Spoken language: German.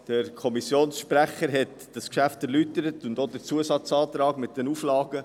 Der Kommissionssprecher hat dieses Geschäft erläutert und auch den Zusatzauftrag mit den Auflagen.